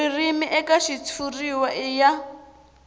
ririmi eka xitshuriwa i ya